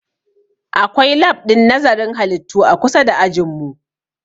Akwai lab ɗin nazarin halittu a kusa da ajin mu